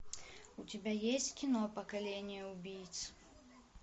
у тебя есть кино поколение убийц